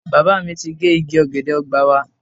Bàbá mi ti gé igi ọ̀gẹ̀dẹ̀ ọgbà wa.